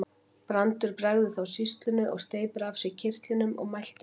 Brandur bregður þá sýslunni og steypir af sér kyrtlinum og mælti ekki.